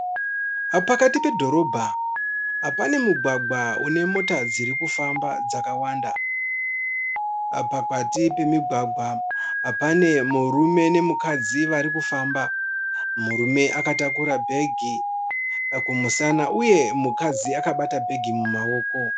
Pakati pedhorobha pane mugwagwa une mota dziri kufamba dzakawanda. Pakati pemigwagwa pane murume nemukadzi vari kufamba. Murume akatakura bhegi kumusana uye mukadzi akabata bhegi mumaoko.